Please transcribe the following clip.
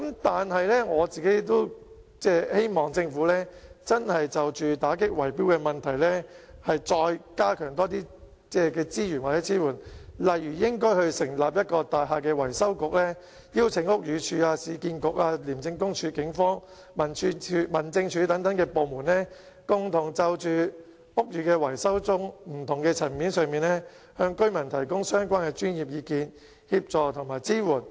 但是，我希望政府就打擊圍標問題真的再加強提供資源或支援，例如成立一個大廈維修局，邀請屋宇署、市區重建局、廉政公署、警方、民政事務總署等部門共同就屋宇維修中不同的層面，向居民提供相關的專業意見、協助及支援。